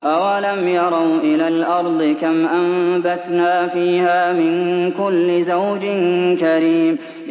أَوَلَمْ يَرَوْا إِلَى الْأَرْضِ كَمْ أَنبَتْنَا فِيهَا مِن كُلِّ زَوْجٍ كَرِيمٍ